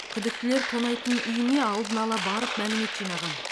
күдіктілер тонайтын үйіне алдын ала барып мәлімет жинаған